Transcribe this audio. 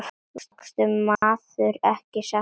Vaskur maður er mér sagt.